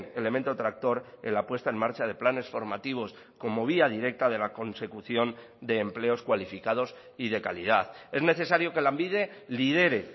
elemento tractor en la puesta en marcha de planes formativos como vía directa de la consecución de empleos cualificados y de calidad es necesario que lanbide lidere